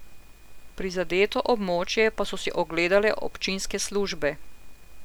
Prizadeto območje pa so si ogledale občinske službe.